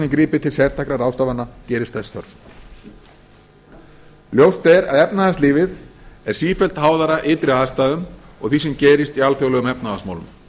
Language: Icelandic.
gripið til sértækra ráðstafana gerist þess þörf ljóst er að efnahagslífið er sífellt háðara ytri aðstæðum og því sem gerist í alþjóðlegum efnahagsmálum